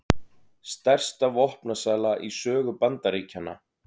Stærsta vopnasala í sögu Bandaríkjanna